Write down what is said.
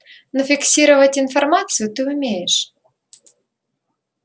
но фиксировать информацию ты умеешь